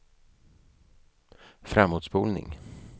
framåtspolning